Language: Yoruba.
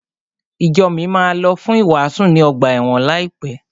Ìjo mi máa lọ fún ìwàásù ní ọgbà ẹ̀wọ̀n láìpẹ́.